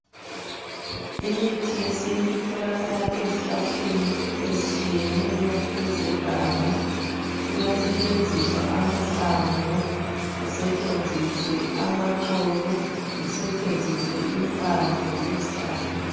Imithi yesintu itholakala ezihlahleni ezitshiyeneyo ezeganga kuyasetshenziswa amahlamvu kusetshenziswe amaxolo kusetshenziswe impande zezihlahla